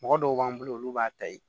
Mɔgɔ dɔw b'an bolo olu b'a ta yen